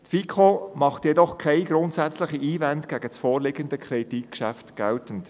Die FiKo macht jedoch keine grundsätzlichen Einwände gegen das vorliegende Kreditgeschäft geltend.